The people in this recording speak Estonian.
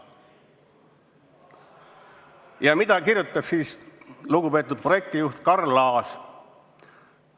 Ja mida kirjutab siis lugupeetud projektijuht Karl Laas?